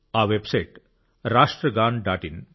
ఆ website రాష్ట్ర్ గాన్ డాట్ ఇన్